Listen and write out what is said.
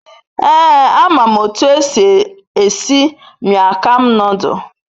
Ee, a mam otu esi esi mian kham nodul